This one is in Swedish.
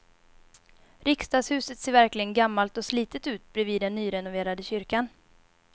Riksdagshuset ser verkligen gammalt och slitet ut bredvid den nyrenoverade kyrkan.